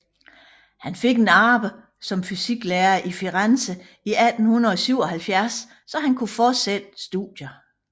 Han fik et arbejde som fysiklærer i Firenze i 1877 så han kunne fortsætte studierne